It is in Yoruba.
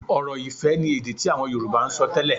Ọ̀rọ̀-ifẹ̀ ni èdè tí àwọn Yorùbá ń sọ tẹ́lẹ̀